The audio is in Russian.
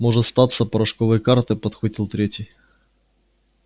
может статься порошковые карты подхватил третий